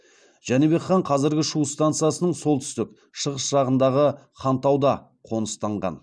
жәнібек хан қазіргі шу стансасының солтүстік шығыс жағындағы хантауды қоныстанған